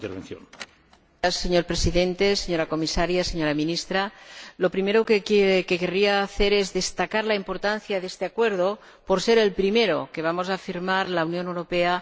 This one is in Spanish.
Señor Presidente, señora Comisaria, señora Ministra, lo primero que querría hacer es destacar la importancia de este acuerdo, por ser el primero que va a firmar la Unión Europea con Irak.